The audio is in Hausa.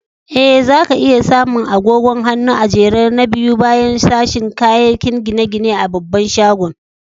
Eh, za ka iya samu agogon hannu a'jere na biyu baya sashin kayakin gine-gine a babban shagon.